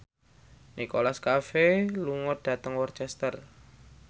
Nicholas Cafe lunga dhateng Worcester